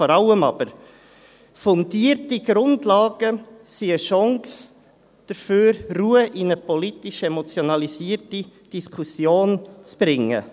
Fundierte Grundlagen sind eine Chance dafür, Ruhe in eine politisch emotionalisierte Diskussion zu bringen.